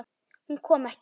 Hún kom ekki.